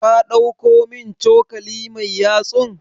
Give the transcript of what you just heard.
Ka ɗauko min cokali mai yatsun?